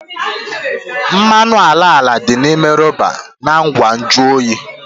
Mmanụ ala ala dị n'ime rọba na ngwa nju oyi